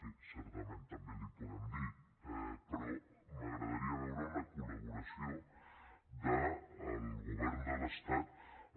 sí certament també li ho podem dir però m’agradaria veure una col·laboració del govern de l’estat en